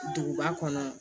Duguba kɔnɔ